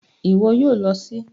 Ìwo yio lo sí